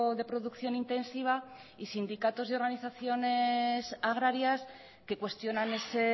de producción intensiva y sindicatos y organizaciones agrarias que cuestionan ese